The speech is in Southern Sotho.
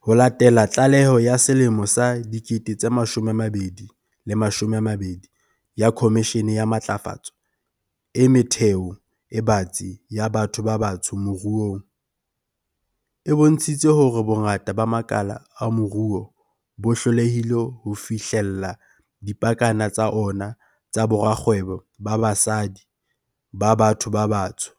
Ho latela tlaleho ya selemo sa 2020 ya Khomishene ya Matlafatso e Metheo e Batsi ya Batho ba Batsho Moruong, e bontshitseng hore bongata ba makala a moruo bo hlolehile ho fihlella dipakana tsa ona tsa borakgwebo ba basadi ba batho ba batsho,